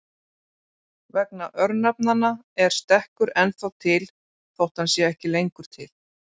Vegna örnefnanna er stekkur ennþá til þótt hann sé ekki lengur til.